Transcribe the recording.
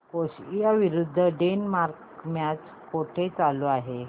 Croatia विरुद्ध Denmark match कुठे चालू आहे